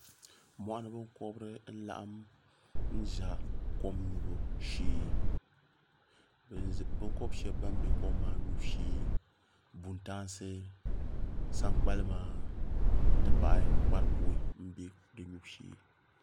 Mɔɣuni binkɔbiri n laɣim n za kom nyubu shee binkɔbi shɛba bani bɛ kom maa nyubu shee buntaansi sankpalima m ti pahi kparibuhi mbɛ di yubu shee.